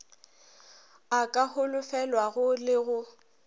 a ka holofelwago le go